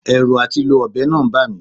Ẹ̀rù àti lo ọ̀bẹ náà ń bà mi